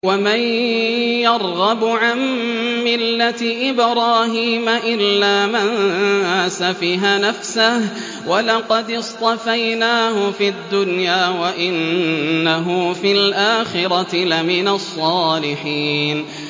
وَمَن يَرْغَبُ عَن مِّلَّةِ إِبْرَاهِيمَ إِلَّا مَن سَفِهَ نَفْسَهُ ۚ وَلَقَدِ اصْطَفَيْنَاهُ فِي الدُّنْيَا ۖ وَإِنَّهُ فِي الْآخِرَةِ لَمِنَ الصَّالِحِينَ